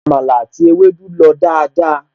Àmàlà àti ewédú lọ dáadáa